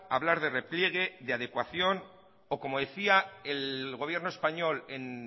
hablar de repliegue de adecuación o como decía el gobierno español en